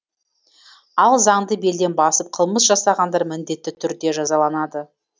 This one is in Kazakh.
ал заңды белден басып қылмыс жасағандар міндетті түрде жазаланады